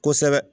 Kosɛbɛ